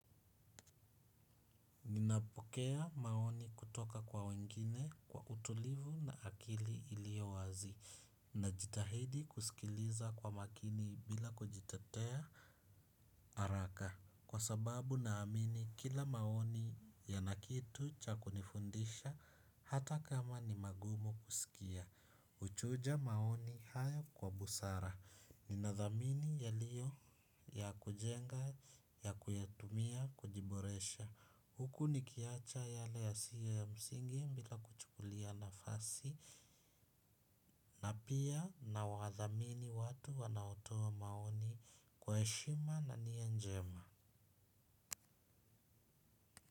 Ninapokea maoni kutoka kwa wengine kwa utulivu na akili ilio wazi na jitahidi kusikiliza kwa makini bila kujitatea haraka kwa sababu naamini kila maoni yanakitu cha kunifundisha hata kama ni magumu kusikia. Uchuja maoni haya kwa busara, ni nadhamini yalio ya kujenga ya kuyatumia kujiboresha, huku ni kiacha yale yasiye ya msingi bila kuchukulia na fasi, na pia na wadhamini watu wanaotoa maoni kwa shima na nia njema.